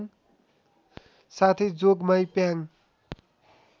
साथै जोगमाई प्याङ